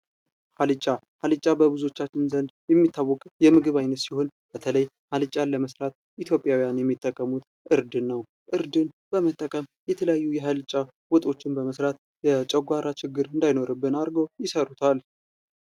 አልጫ አልጫ በብዙዎቻችን ዘንድ የሚታወቅ የምግብ አይነት ሲሆን በተለይ አልጫን ለመስራት ኢትዮጵያውያን የሚጠቀሙት እርድን ነው። እርድን በመጠቀም የተለያዩ የአልጫ ወጦችን በመስራት የጨጓራ ችግር እንዳይኖርብን አድርገው ይሰሩታል።